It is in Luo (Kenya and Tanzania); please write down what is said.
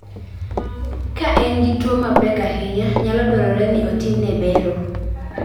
Ka en gi tuo mapek ahinya, nyalo dwarore ni otimne bero.